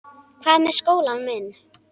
Hvað með skólann minn?